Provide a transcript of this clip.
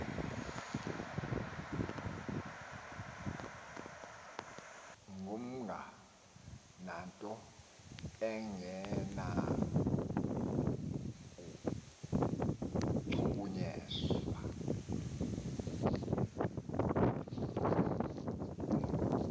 ngumga ngatho ongenakuchukunyiswa